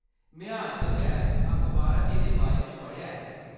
में हाल च गैअखबारा च एह्‌‌‌दे बारे च पढ़ेआ ऐ।